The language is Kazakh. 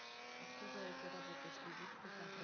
а кто за этой работой следит кто